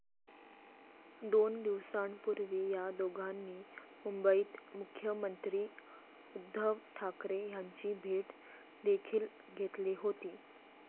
दोन दिवसांपूर्वी या दोघांनी मुंबईत मुख्यमंत्री उद्धव ठाकरे यांची भेट देखील घेतली होती.